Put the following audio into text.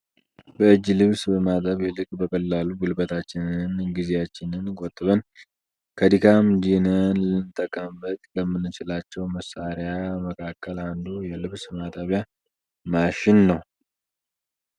በእጅ ልብስ ከማጠብ ይልቅ በቀላሉ ጉልበታችንንም ጊዜያችንንም ቆጥበን ፣ ከድካም ድነን ልንጠቀምበት ከምንችለው መሳሪያ መካከል አንዱ የልብስ ማጠቢያ ማሽን ነው።